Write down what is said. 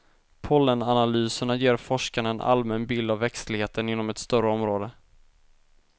Pollenanalyserna ger forskarna en allmän bild av växtligheten inom ett större område.